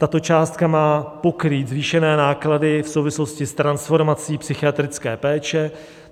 Tato částka má pokrýt zvýšené náklady v souvislosti s transformací psychiatrické péče.